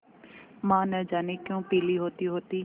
माँ न जाने क्यों पीली होतीहोती